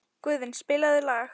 Guðvin, spilaðu lag.